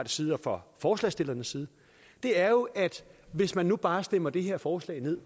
side og fra forslagsstillernes side er jo at hvis man nu bare stemmer det her forslag ned